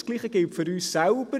Das Gleiche gilt für uns selbst: